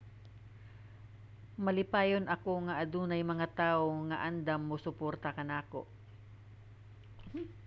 malipayon ako nga adunay mga tawo nga andam mosuporta kanako